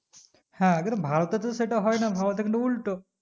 হ্যাঁ কিন্তু ভারতে তো সেটা হয় না ভারতে কিন্তু উল্টো